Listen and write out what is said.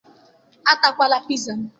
Atakwala piza m!